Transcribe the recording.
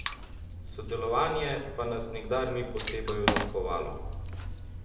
Sodelovanje pa nas nikdar ni posebej odlikovalo.